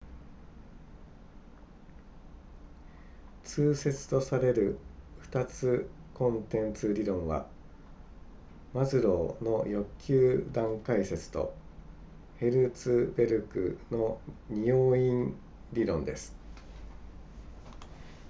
通説とされる2つコンテンツ理論はマズローの欲求段階説とヘルツベルクの二要因理論です